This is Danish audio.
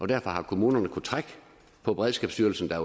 derfor har kommunerne kunnet trække på beredskabsstyrelsen der